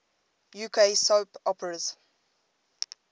uk soap operas